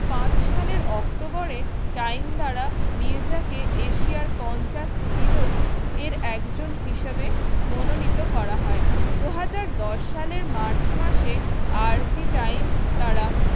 পাঁচ সালের october এ time দ্বারা মির্জা কে এশিয়ার পঞ্চাশ heroes এর একজন হিসেবে মনোনীত করা হয়। দু হাজার দশ সালের march মাসে দ্বারা